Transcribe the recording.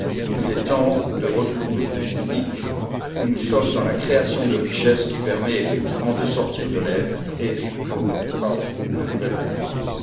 Il est temps de retrouver une dynamique où nous sommes dans la création de richesses qui permette effectivement de sortir de l'aide et ne crée pas de nouvelles dépendances.